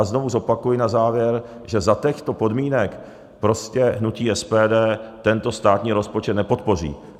A znovu zopakuji na závěr, že za těchto podmínek prostě hnutí SPD tento státní rozpočet nepodpoří.